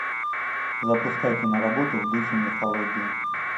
запускай киноработу в духе мифологии